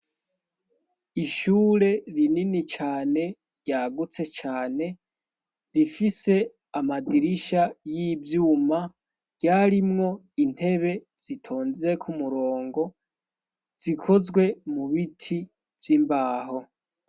Ishure rinini cane ryagutse cane rifise amadirisha y'ivyuma ryarimwo intebe zitonzeko umurongo zikozwe mu biti z'imbaho.